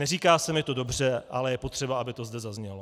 Neříká se mi to dobře, ale je potřeba, aby to zde zaznělo.